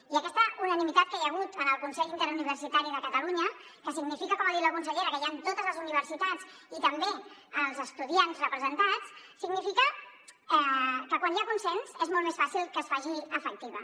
i aquesta unanimitat que hi ha hagut en el consell interuniversitari de catalunya que significa com ha dit la consellera que hi ha totes les universitats i també els estudiants representats significa que quan hi ha consens és molt més fàcil que es faci efectiva